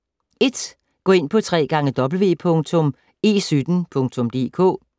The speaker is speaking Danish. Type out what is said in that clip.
1. Gå ind på www.e17.dk